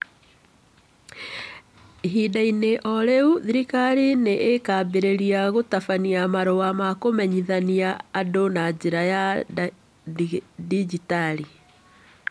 Ihinda-inĩ o rĩu, thirikari nĩ ĩkaambĩrĩria gũtabania marũa ma kũmenyithanagia andũ na njĩra ya ndigitari